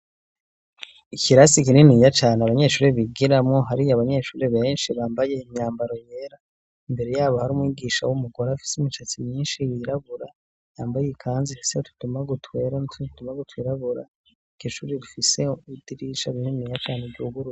Ikirasi ikinini ya cane abanyeshuri bigiramwo hari yo abanyeshuri benshi bambaye imyambaro yera imbere yabo hari umwigisha w'umugore afise imicatsi myinshi yirabura yambaye ikanzi hese tutuma gutwera nto tutuma gutwirabura ikishuri gifise idirica bininiya cane ry'uguru.